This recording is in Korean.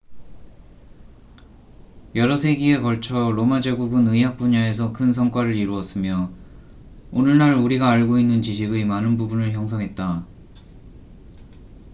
여러 세기에 걸쳐 로마 제국은 의학 분야에서 큰 성과를 이루었으며 오늘날 우리가 알고 있는 지식의 많은 부분을 형성했다